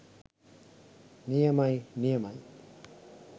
නියමයි නියමයි